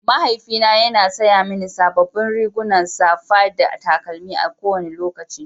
Mahaifina yana saya mini sababbin riguna, safa da takalmi a kowane lokaci.